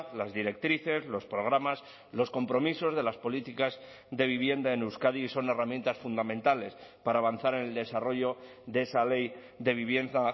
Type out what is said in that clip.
las directrices los programas los compromisos de las políticas de vivienda en euskadi y son herramientas fundamentales para avanzar en el desarrollo de esa ley de vivienda